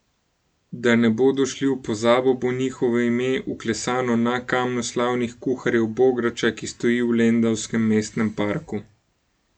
Da ne bodo šli v pozabo, bo njihovo ime vklesano na Kamnu slavnih kuharjev bograča, ki stoji v lendavskem mestnem parku.